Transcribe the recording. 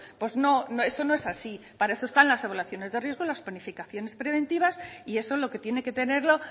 pues no eso no es así para eso están las evaluaciones de riesgo y las planificaciones preventivas y eso lo que tiene que tenerlo